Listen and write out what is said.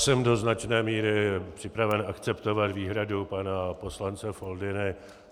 Jsem do značné míry připraven akceptovat výhradu pana poslance Foldyny.